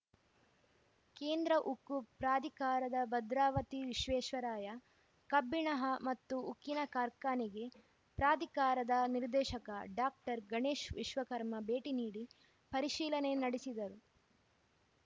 ಕೇಂದ್ರ ಉಕ್ಕು ಪ್ರಾಧಿಕಾರದ ಭದ್ರಾವತಿ ವಿಶ್ವೇಶ್ವರಾಯ ಕಬ್ಬಿಣ ಮತ್ತು ಉಕ್ಕಿನ ಕಾರ್ಖಾನೆಗೆ ಪ್ರಾಧಿಕಾರದ ನಿರ್ದೇಶಕ ಡಾಕ್ಟರ್ ಗಣೇಶ್‌ ವಿಶ್ವಕರ್ಮ ಭೇಟಿ ನೀಡಿ ಪರಿಶೀಲನೆ ನಡೆಸಿದರು